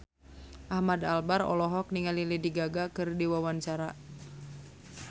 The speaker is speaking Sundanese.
Ahmad Albar olohok ningali Lady Gaga keur diwawancara